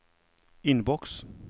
innboks